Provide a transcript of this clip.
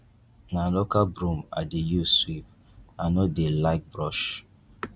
na local broom i dey use sweep i no dey like brush